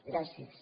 gràcies